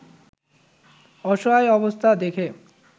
অসহায় অবস্থায় দেখে